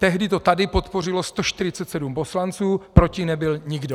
Tehdy to tady podpořilo 147 poslanců, proti nebyl nikdo.